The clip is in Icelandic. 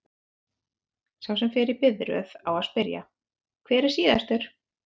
Sá sem fer í biðröð á að spyrja: hver er síðastur?